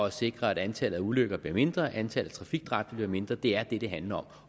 at sikre at antallet af ulykker bliver mindre og at antallet af trafikdræbte bliver mindre det er det det handler om